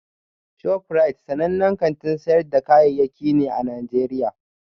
ShofRite sanannen kantin sayar da kayayyaki ne a Najeriya